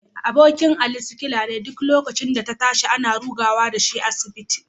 Abokin Ali sikila ne, duk lokacin da ta tashi, akan ruga da shi asibiti